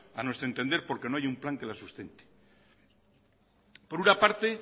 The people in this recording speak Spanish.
a nuestro entender porque no hay un plan que la sustente por una parte